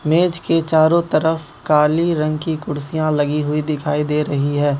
मेज के चारों तरफ काली रंग की कुर्सियां लगी हुई दिखाई दे रही है।